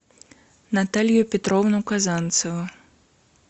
наталью петровну казанцеву